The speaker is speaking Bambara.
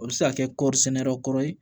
O bɛ se ka kɛ kɔri sɛnɛ yɔrɔ kɔrɔ ye